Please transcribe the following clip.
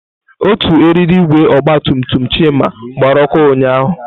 Otu eriri igwe ọgba tum tum Chima gbara ọkụ ụnyahụ.